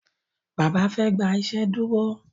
Bàbá fe gbà iṣeduro.